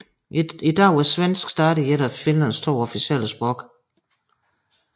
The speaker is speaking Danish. I dag er svensk stadig et af Finlands to officielle sprog